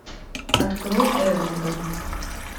открой эврика